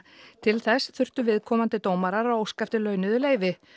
til þess þurftu viðkomandi dómarar að óska eftir launuðu leyfi